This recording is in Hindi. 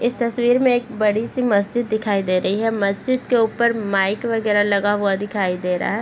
इस तस्वीर में एक बड़ी-सी मस्जिद दिखाई दे रही है मस्जिद के ऊपर के माइक वगैरा लगा हुआ दिखाई दे रहा है।